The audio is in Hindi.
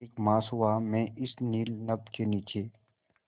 एक मास हुआ मैं इस नील नभ के नीचे